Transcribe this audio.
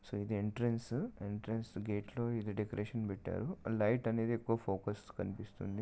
so ఇది entrance entrance gate లో ఈ డెకరేషన్ పెట్టారు లైట్ అనేది ఎక్కువ ఫోకస్ కనిపిస్తుంది